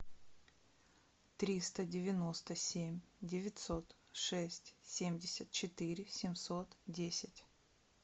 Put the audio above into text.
триста девяносто семь девятьсот шесть семьдесят четыре семьсот десять